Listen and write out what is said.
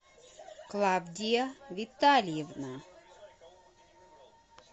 клавдия витальевна